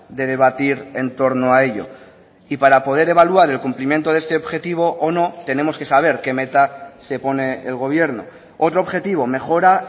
de debatir en torno a ello y para poder evaluar el cumplimiento de este objetivo o no tenemos que saber que meta se pone el gobierno otro objetivo mejora